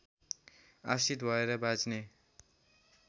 आश्रित भएर बाँच्ने